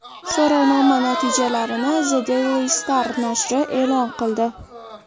So‘rovnoma natijalarini The Daily Star nashri e’lon qildi .